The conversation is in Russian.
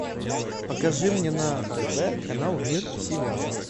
покажи мне на тв канал мир сериалов